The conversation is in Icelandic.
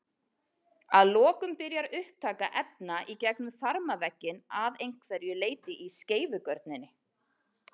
Að lokum byrjar upptaka efna í gegnum þarmavegginn að einhverju leyti í skeifugörninni.